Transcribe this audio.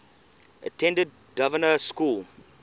attended dynevor school